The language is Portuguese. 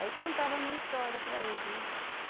Aí contava a minha história para eles, né?